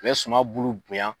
U bɛ suman bulu bonya